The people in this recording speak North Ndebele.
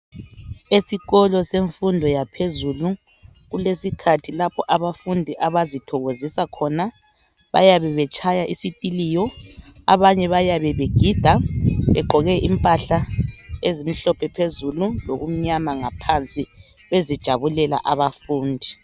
Esikolo semfundo yaphezulu kulesikhathi lapho abafundi abazithokozisa khona. Bayabe betshaya isikhiliyo,, abanye bayabe begida begqoke imphahla ezimhlophe phezulu lokumnyama ngaphansi, bezijabulelela abafundi.